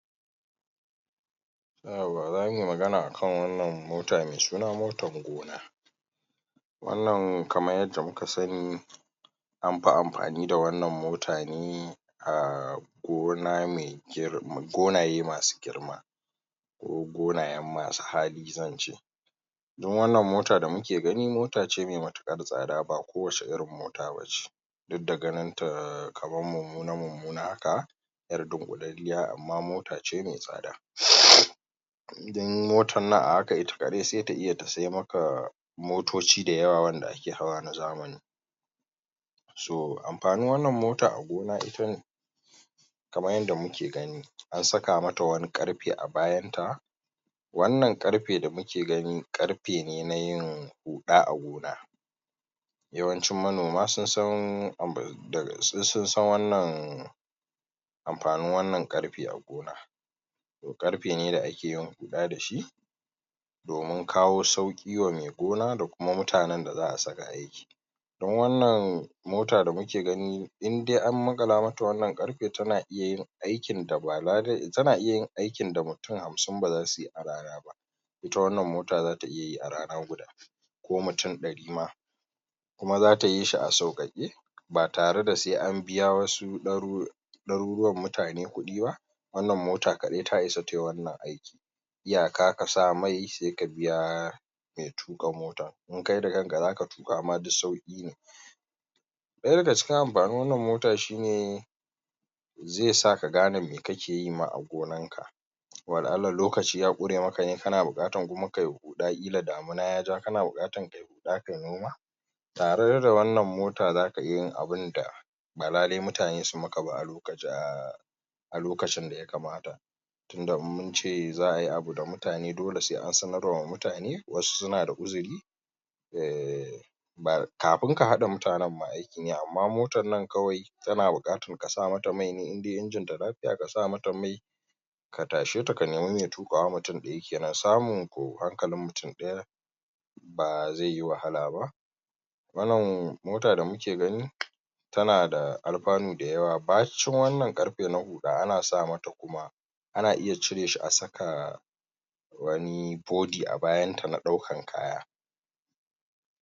yauwa, zamu yi magana akan wannan mota mai suna motan gona wannnan kamar yadda muka sani an fi amfani da wannan mota ne a gona me gonaye masu girma ko gonayen masu hali zan ce don wannan mota da muke gani mota ce mai matuƙar tsada ba kowace irin mota ba ce duk da ana ganinta kamar mummuna-mummuna haka yar dunƙulalliya, amma mota ce mai tsada don motan nan a haka ita kaɗai sai ta iya siya maka motoci da yawa wanda ake hawa na zamani so amfanin wannan mota a gona ita ne kamar yadda muke gani an saka mata wani ƙarfe a bayanta, wannan ƙarfe da muke gani ƙarfe ne na yin huɗa a gona yawancin manoma sun san wannan amfanin wannan ƙarfe a gona ƙarfe ne da ake yin huɗa da shi domin kawo sauƙi wa mai gona, da kuma mutanen da za a saka aiki don wannan mota da muke gani don wannan mota da muke gani indai an maƙala mata wannan ƙarfe tana iya yin aikin da mutum hamsin ba zasu yi a rana ba ita wannan mota zata iya yi a rana guda ko mutum ɗari ma kuma zata yi shi a sauƙaƙe ba tare da sai an biya wasu ɗaru ɗaruruwan mutane kuɗi ba, wannan mota kaɗai ta isa ta yi wannan aiki iyaka ka sa mai, sai ka biya mai tuƙa mota in kai da kanka ma zaka tuƙa duk sauƙi ne, ɗaya daga cikin amfanin wannan mota shi ne zai sa ka gane me ka ke yi ma a gonarka, wala'alla lokaci ya ƙure maka ne kana buƙatar kuma ka yi huɗa ƙila damina ya ja kana bukatar ka yi huɗa ka yi noma tare da wannan mota zaka iya yin abin da ba lallai mutane su maka ba a a lokacin da yakamata, tunda in mun ce za a yi abu da mutane dole a sanarwa da mutane, wasu suna da uzuri [ehhh] kafin ka haɗa mutanen ma aiki ne, amma motar nan kawai tana buƙatar ka saka mata mai ne kawai indai injinta lafiya ka saka mata mai ka tashe ta ka nemi mai tuƙawa mutum ɗaya kenan, samun ko hankalin mutum ɗaya ba zai yi wahala ba Wannan mota da muke gani tana da alfanu da yawa, bacin wannan ƙarfe na huɗa ana saka mata kuma ana iya cire shi a saka wani bodi a bayanta na dauƙar kaya